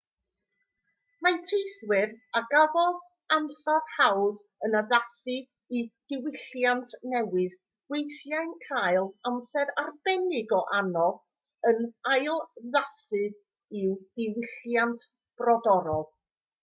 mae teithwyr a gafodd amser hawdd yn addasu i'r diwylliant newydd weithiau'n cael amser arbennig o anodd yn ailaddasu i'w diwylliant brodorol